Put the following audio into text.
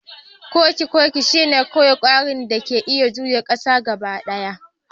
Kokikoki shine kawai kwari da ke iya juya kansa gaba ɗaya